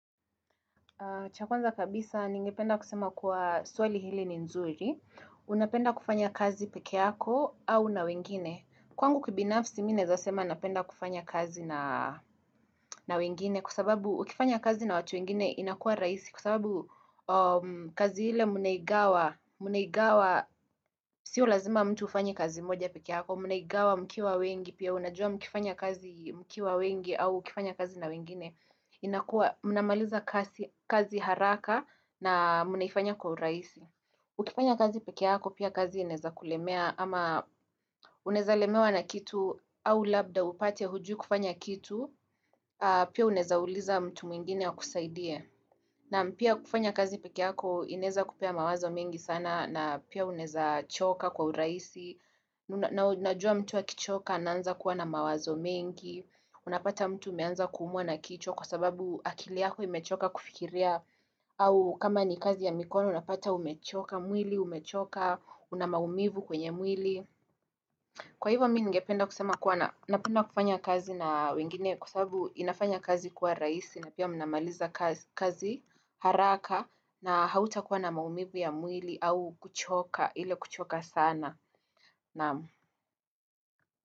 Cha kwanza kabisa ningependa kusema kuwa swali hili ni nzuri. Unapenda kufanya kazi pekee yako au na wengine. Kwangu kibinafsi mimi naeza sema napenda kufanya kazi na wengine kwasababu ukifanya kazi na watu wengine inakua raisi kusababu kazi ile mnaigawa. Sio lazima mtu ufanye kazi moja pekeyako mnaigawa mkiwa wengi pia unajua mkifanya kazi mkiwa wengi au ukifanya kazi na wengine. Inakua munamaliza kazi haraka na mnaifanya kwa uraisi Ukifanya kazi pekeyako pia kazi inaeza kulemea ama unaeza lemewa na kitu au labda upate hujui kufanya kitu Pia unaeza uliza mtu mwingine akusaidie Naam pia kufanya kazi pekeyako inaeza kupea mawazo mengi sana na pia unaeza choka kwa uraisi Najua mtu akichoka anaanza kuwa na mawazo mengi Unapata mtu umeanza kumwa na kichwa kwa sababu akili yako imechoka kufikiria au kama ni kazi ya mikono unapata umechoka mwili, umechoka, una maumivu kwenye mwili Kwa hivyo mi ngependa kusema kuwa napenda kufanya kazi na wengine Kwa sababu inafanya kazi kuwa raisi na pia mnamaliza kazi haraka na hauta kuwa na maumivu ya mwili au kuchoka, ile kuchoka sana.